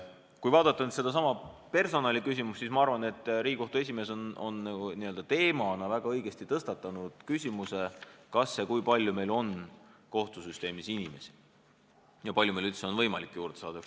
Kui vaadata personaliküsimust, siis ma arvan, et Riigikohtu esimees on teemana väga õigesti tõstatanud selle, kui palju meil on kohtusüsteemis inimesi ja kui palju meil on võimalik sinna neid juurde saada.